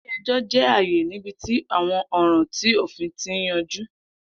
Ile-ẹjọ jẹ aaye nibiti awọn ọran ti ofin ti yanju.